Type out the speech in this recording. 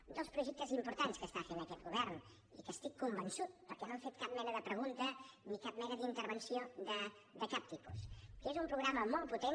un dels projectes importants que està fent aquest govern i que estic convençut perquè no han fet cap mena de pregunta ni cap mena d’intervenció de cap tipus que és un programa molt potent